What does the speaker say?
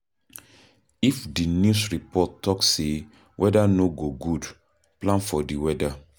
If di news report talk sey weather no go good, plan for di weather